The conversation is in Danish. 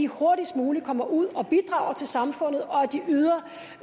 hurtigst muligt kommer ud og bidrager til samfundet og